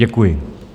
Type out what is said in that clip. Děkuji.